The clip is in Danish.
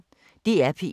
DR P1